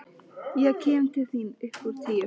Ég kem til þín upp úr tíu.